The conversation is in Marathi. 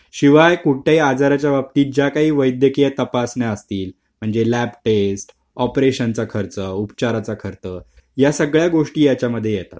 शिवाय कुठे आजाराच्या बाबतीत ज्या काही वैद्यकीय तपासणी असतील म्हणजे लेब टेस्ट ऑपरेशनचा खर्च उपचाराचा खर्च या सगळ्या गोष्टी याच्यामध्ये येतात अच्छा